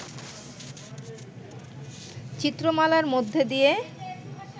চিত্রমালার মধ্য দিয়ে